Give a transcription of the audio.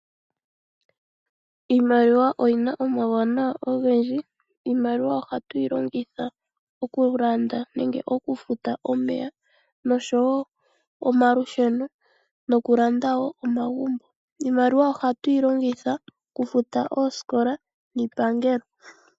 Iimaliwa oyina omauwanawa ogendji ,iimaliwa ohatu yi longitha okulanda nenge okufuta omeya nosho wo omalusheno noku landa wo omagumbo. Iimaliwa ohatu yilongitha okufuta oosikola niipangelo.